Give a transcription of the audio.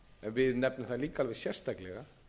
við nefnum það líka alveg sérstaklega